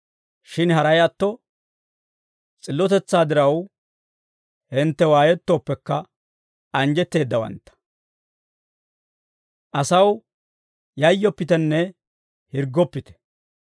Shin haray atto, s'illotetsaa diraw hintte waayettooppekka, anjjetteeddawantta. Asaw yayyoppitenne hirggoppite.